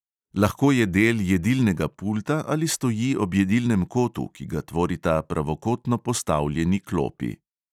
Lahko je del jedilnega pulta ali stoji ob jedilnem kotu, ki ga tvorita pravokotno postavljeni klopi.